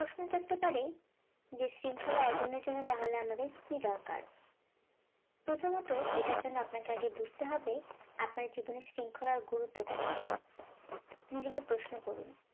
প্রশ্ন থাকতে পারে যে শৃঙ্খলা অর্জনের জন্য তাহলে আমাদের কি দরকার, প্রথমত এটার জন্য আপনাকে আগে বুঝতে হবে আপনার জীবনে শৃঙ্খলার গুরুত্ব কতটুকু নিজেকে প্রশ্ন করুন